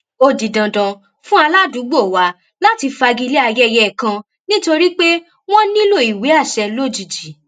ó di dandan fún aládùúgbò wa láti fagilé ayẹyẹ kan nítorí pé wọ́n nílò ìwé àṣẹ lójijì